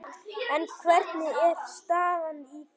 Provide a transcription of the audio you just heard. En hvernig er staðan í því?